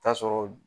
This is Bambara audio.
Taa sɔrɔ